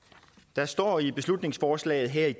der står i beslutningsforslaget her